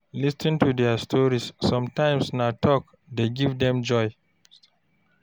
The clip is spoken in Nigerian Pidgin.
Lis ten to their stories, sometimes na talk dey give dem joy.